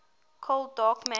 cold dark matter